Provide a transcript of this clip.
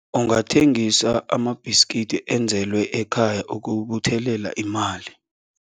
Ungathengisa amabhiskidi enzelwe ekhaya ukubuthelela imali.